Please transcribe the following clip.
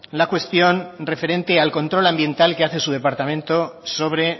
la cuestión referente al control ambiental que hace su departamento sobre